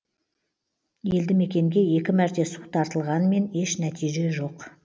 елді мекенге екі мәрте су тартылғанмен еш нәтиже жоқ